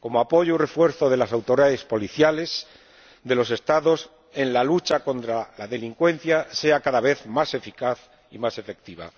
como apoyo y refuerzo de las autoridades policiales de los Estados en la lucha contra la delincuencia sea cada vez más eficaz y más efectiva.